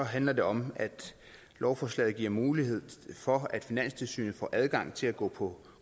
handler det om at lovforslaget giver mulighed for at finanstilsynet får adgang til at gå på